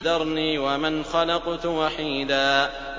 ذَرْنِي وَمَنْ خَلَقْتُ وَحِيدًا